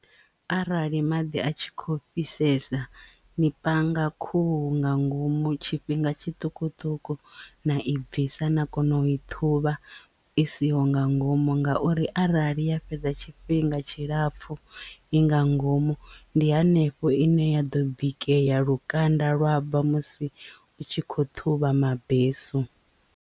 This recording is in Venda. Arali maḓi a tshi khou fhisesa ni panga khuhu nga ngomu tshifhinga tshiṱukuṱuku na i bvisa na kona u i ṱhuvha isiho nga ngomu nga ngauri arali ya fhedza tshifhinga tshilapfu i nga ngomu ndi hanefho ine ya ḓo bikea lukanda lwa bva musi u tshi kho ṱhuvha mabesu.